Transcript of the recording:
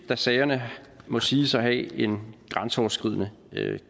da sagerne må siges at have en grænseoverskridende